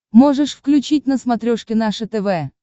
можешь включить на смотрешке наше тв